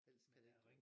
Eller kan det ikke